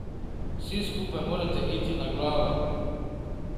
Vsi skupaj morate iti na glavo.